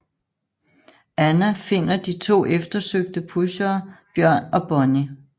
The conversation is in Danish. Anna finder de to eftersøgte pushere Bjørn og Bonnie